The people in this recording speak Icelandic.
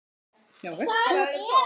hjá Vektor.